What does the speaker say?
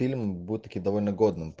фильм был таки довольно годным